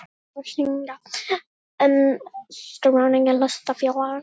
Ber þá að synja um skráningu hlutafélags.